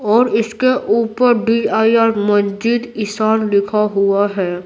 और इसके ऊपर डी_आई_आर मस्जिद इसान लिखा हुआ है।